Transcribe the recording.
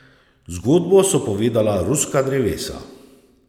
Zgodbo so povedala ruska drevesa.